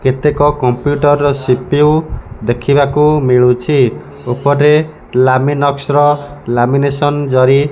କେତେକ କମ୍ପ୍ଯୁଟର ର ସି_ପି_ୟୁ ଦେଖିବାକୁ ମିଳୁଛି। ଉପରେ ଲାମିନକ୍ସର ଲାମିନେସନ ଜରି --